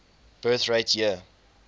birth rate year